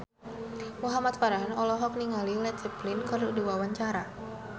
Muhamad Farhan olohok ningali Led Zeppelin keur diwawancara